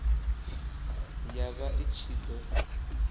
ya vha i ṱshi ḓo